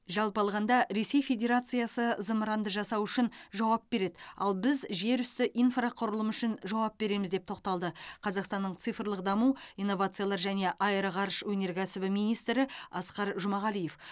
жалпы алғанда ресей федерациясы зымыранды жасау үшін жауап береді ал біз жерүсті инфрақұрылымы үшін жауап береміз деп тоқталды қазақстанның цифрлық даму инновациялар және аэроғарыш өнеркәсібі министрі асқар жұмағалиев